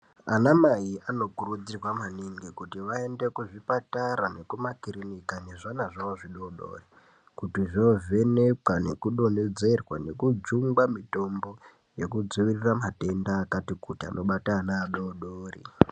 Anamai anokurudzirwa maningi kuti vaende kuzvipatara nekumakirinika nezvana zvawo zvidoodori kuti zvoovhenekwa nekudonhedzerwa nekujungwa mitombo yekudzivirira matenda akati kuti anobata ana adoodori.